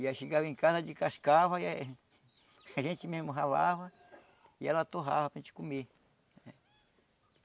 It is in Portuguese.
E aí chegava em casa, descascava e a gente mesmo ralava e ela torrava para gente comer.